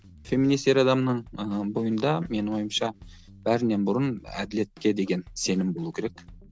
феминист ер адамның ыыы бойында менің ойымша бәрінен бұрын әділетке деген сенім болу керек